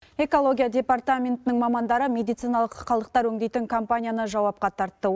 экология департаментінің мамандары медициналық қалдықтар өңдейтін компанияны жауапқа тартты